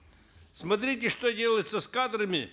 смотрите что делается с кадрами